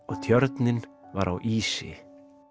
og tjörnin var á ísi